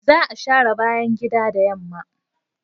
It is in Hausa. Za a share bayan gida da yamma.